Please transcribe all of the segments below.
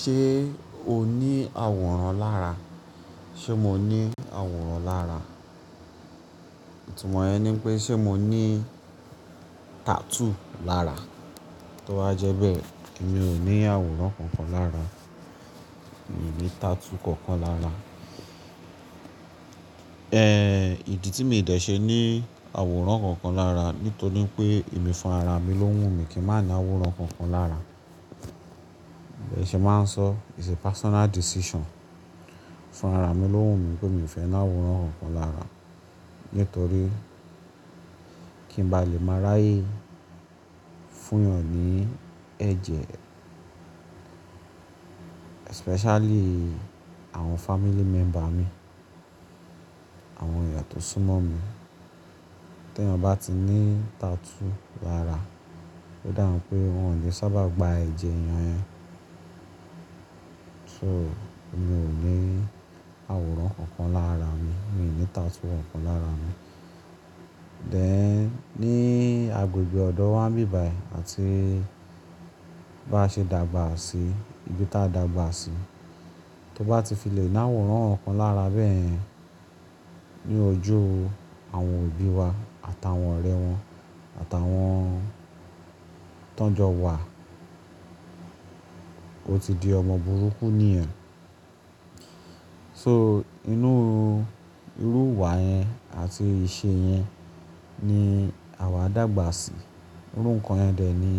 Ṣé o ní àwòrán lára? Ṣé mo ní àwòrán lára? Tí mọ yẹn ni pé ṣé mo ní tattoo lára? Tó bá jẹ́ bẹ́ẹ̀, èmi ò ní àwòrán kankan lára. Mi ò ní tattoo kankan lára. Ẹ idì tí mi ò dẹ̀ ṣe ní àwòrán kankan lára nítorí pé èmi fún ara mi ló wù mí kí n má ní àwòrán kankan lára. Ẹ ṣe máa sọ it's a personal decision. Fún rárá mi lo ń wumi pé mi o fẹni àwòrán kankan lára nítorí kí n balẹ má ráyè fún yàn ni ẹ̀jẹ̀. Expecially àwọn family member mi àwọn eeyan to sùn mọmi. T'eyan bá ti ní tattoo lára, ó dàhùn pé wọ́n ò lè sábà gba ẹ̀jẹ̀ eyàn yẹn. So, mi ò ní àwòrán kankan lára mi. Mi ò ní tattoo kankan lára mi. Then, ní agbègbè ọ̀dọ̀ wa ń bíbài àti bá ṣe dàgbà sí ibi tí a dàgbà sí, tó bá ti fi lè ni àwòrán kankan lára bẹ́yen, ní ojú àwọn obi wá àtàwọn ọrẹ wọn àtàwọn tán jọwa ọtí di ọmọ burúkú nìyẹn so. Inú irú wà yẹn àti ìṣe yẹn ni àwa dàgbà sí. Irú nǹkan yẹn dè ni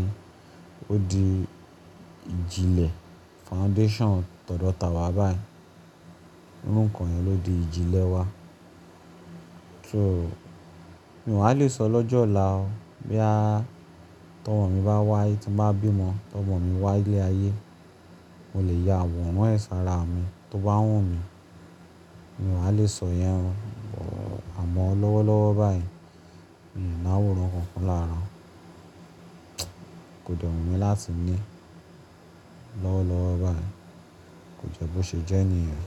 ó di ìjìlẹ̀ foundation tọ̀dọ̀ tàwa báyìí. Irú nǹkan yẹn ló di ìjìlẹ̀ wa. So mi wá lè sọ lọ́jọ́ ọlá ó bóyá tọmọ mi bá wáye, tí n bá bí ọmọ, tọmọ mi wá ilé ayé, mo lè ya àwòrán ẹ sà ara mi tó bá wù mí. Mi wà lè sọ yẹn o. Àmọ́ lọ́wọ́lọ́wọ́ báyìí, mi ò ní àwòrán kankan lára. Kò dẹ wumi láti ní lọ́wọ́lọ́wọ́ báyìí. Kò jẹ́ bó ṣe jẹ́ ni yẹn.